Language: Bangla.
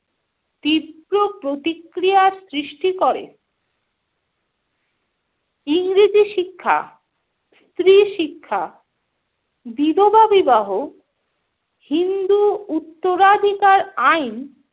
তীব্র প্রতিক্রিয়া সৃষ্টি করে। ইংরেজি শিক্ষা, স্ত্রী শিক্ষা, বিধবা বিবাহ, হিন্দু উত্তরাধিকার আইন